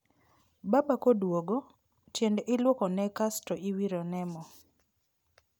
Baba koduogo, tiende iluoko ne kasto iwiro ne mo